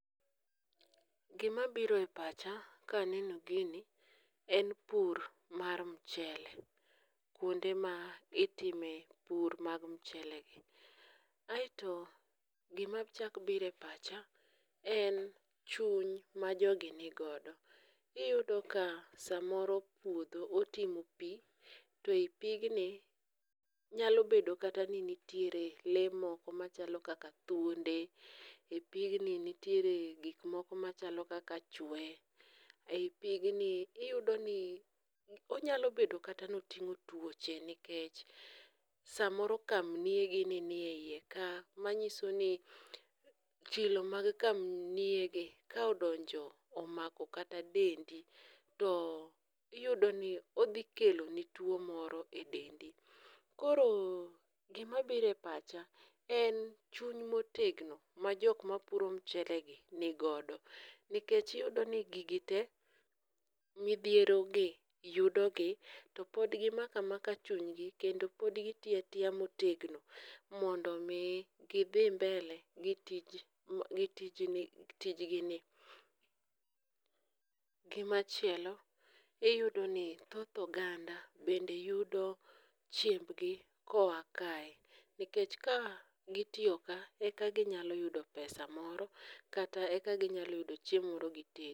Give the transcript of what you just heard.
Gimabiro e pacha kaneno gini en pur mar mchele kwonde ma itime pur mag mchelegi, aeto gimachako biro e pacha en chuny ma jogi ni godo, iyudo ka samoro puodho otimo pi, to e pigni nyalo bedo kata ni nitiere lee moko machalo kaka thuonde,e pigni nitiere gik moko machalo kaka chwee, ei pigni, iyudoni ,onyalo bedo kata ni oting'o tuoche nikech samoro kamniogi nie iye ka, manyiso i chilo mag kamniogi ka odonjo omako kata dendi, to iyudo ni odhi kelo ni tuwo moro e dendi. koro gimabiro e pacha en chuny motegno ma jok mapuro mchelegi nigodo, nikech iyudoni gigi te, midhierogi yudogi to pod gimako amaka chunygi kendo pod gitiyo atiya motegno mondo omi gidhi mbele gi tijgini. gimachielo iyudo ni thoth oganda bende yudo chiembgi koa kae, nikech ka gitiyo ka eka ginyalo yudo pesa moro kata eka ginyalo yudo chiemo moro gitedi.